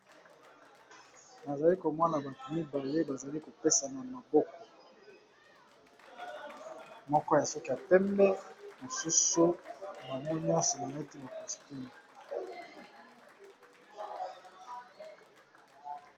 Nazali komona batu mibale bazali kopesana maboko moko ya suki ya pembe mosusu bame nyonso nete ba costume